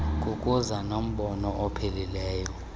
kukuza nombono ophilileyo